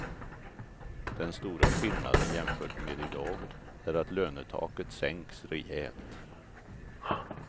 Den stora skillnaden jämfört med i dag är att lönetaket sänks rejält.